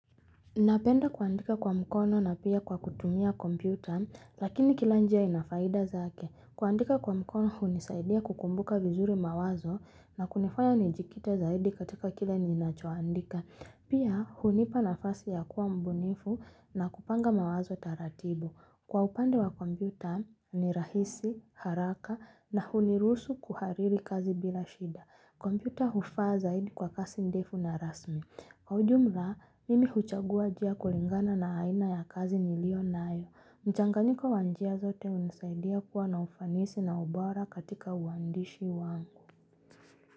Napenda kuandika kwa mkono na pia kwa kutumia kompyuta, lakini kila njia ina faida zake. Kuandika kwa mkono hunisaidia kukumbuka vizuri mawazo na kunifanya nijikite zaidi katika kile ninachoandika. Pia hunipa nafasi ya kuwa mbunifu na kupanga mawazo taratibu. Kwa upande wa kompyuta ni rahisi, haraka na hunirusu kuhariri kazi bila shida. Kompyuta hufaa zaidi kwa kasi ndefu na rasmi. Kwa ujumla, mimi huchagua jia kulingana na haina ya kazi nilionayo. Mchanganyiko wa njia zote unisaidia kuwa na ufanisi na ubora katika uwandishi wangu.